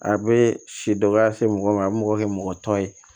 A bɛ si dɔgɔya se mɔgɔ ma a bɛ mɔgɔ kɛ mɔgɔ tɔ ye